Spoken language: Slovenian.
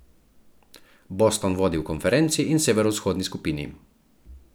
Boston vodi v konferenci in severovzhodni skupini.